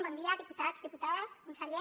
bon dia diputats diputades conseller